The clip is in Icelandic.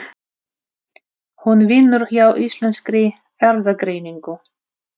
Hún vinnur hjá Íslenskri Erfðagreiningu.